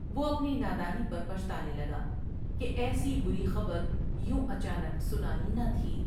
وہ ا پنی نادانی پر پچھتانے لگا کہ ایسی بری خبر یوں اچا نک سنانی بھی ۔